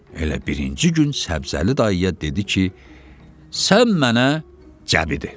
Elə birinci gün Səbzəli dayıya dedi ki, sən mənə Cəbidir.